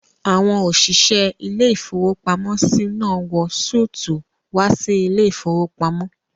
Àwọn òṣìṣẹ́ ilé-ìfowópamọ́sí náà wọ súùtù wá sí ilé-ìfowópamọ́